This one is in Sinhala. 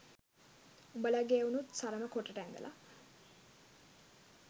උඹලගේ එවුනුත් සරම කොටට ඇදලා